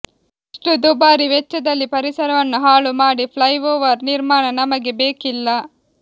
ಇಷ್ಟು ದುಬಾರಿ ವೆಚ್ಚದಲ್ಲಿ ಪರಿಸರವನ್ನು ಹಾಳು ಮಾಡಿ ಫ್ಲೈಓವರ್ ನಿರ್ಮಾಣ ನಮಗೆ ಬೇಕಿಲ್ಲ